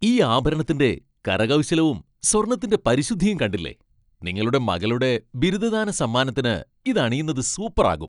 ഈ ആഭരണത്തിന്റെ കരകൗശലവും, സ്വർണ്ണത്തിന്റെ പരിശുദ്ധിയും കണ്ടില്ലേ, നിങ്ങളുടെ മകളുടെ ബിരുദദാന സമ്മാനത്തിന് ഇത് അണിയുന്നത് സൂപ്പർ ആകും .